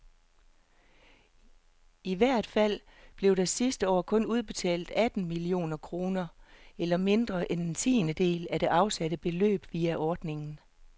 I hvert fald blev der sidste år kun udbetalt atten millioner kroner, eller mindre end en tiendedel af det afsatte beløb, via ordningen.